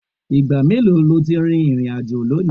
Ìgbà mélòó lo ti rìnrìn-àjò lónìí?